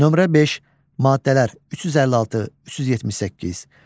Nömrə 5, maddələr 356, 378.